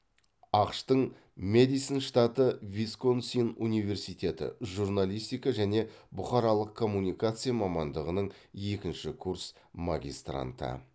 ақш тың мэдисон штаты висконсин университеті журналистика және бұқаралық коммуникация мамандығының екінші курс магистранты